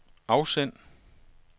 afsend